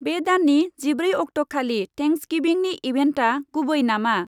बे दाननि जिब्रै अक्टखालि थेन्क्स गिभिंनि इभेन्टआ गुबै नामा?